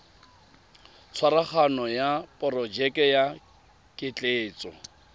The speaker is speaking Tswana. tshwaraganyo ya porojeke ya ketleetso